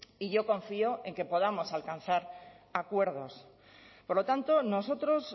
y yo confío en que podamos alcanzar acuerdos por lo tanto nosotros